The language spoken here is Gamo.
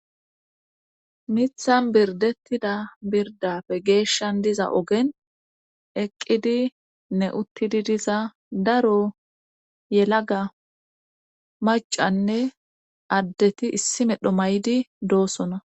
Mithan birdettida birdafe geeshshan diza ogen eqqidi ne uttidi diza daro yelaga macanne addeti issi medho may'di doosona.